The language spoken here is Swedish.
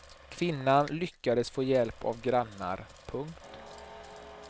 Kvinnan lyckades få hjälp av grannar. punkt